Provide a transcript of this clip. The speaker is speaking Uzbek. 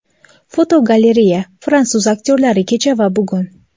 Fotogalereya: Fransuz aktyorlari kecha va bugun.